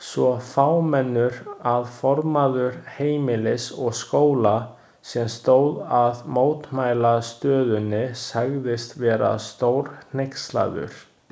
Svo fámennur að formaður Heimilis og Skóla, sem stóð að mótmælastöðunni sagðist vera stórhneykslaður.